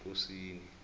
ekosini